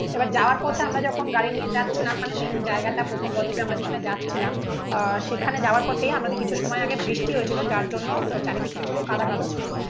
এবার যাওয়ার পথে আমরা যখন গাড়ি নিয়ে যাচ্ছিলাম. মানে মেন জায়গাটা প্রথম বডিতে আমরা যেখানে যাচ্ছিলাম আহ সেখানে যাওয়ার পথে আমাদের কিছু সময় আগে বৃষ্টি হয়েছিল যার জন্য চারিদিকটা একদম কাদা কাদা ছিল